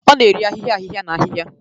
Ọ na-eri ahịhịa ahịhịa na ahịhịa